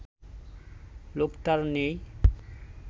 লোকটার নেই